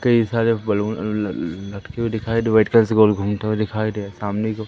कई सारे बैलून लटके हुए दिखाई जो व्हाइट कलर से गोल घूमते हुए दिखाई दे रहा सामने को --